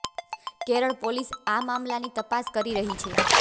Kerala police આ મામલાની તપાસ કરી રહી છે